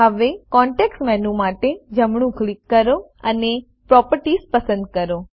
હવે context menu માટે જમણું ક્લિક કરો અને પ્રોપર્ટીઝ પસંદ કરો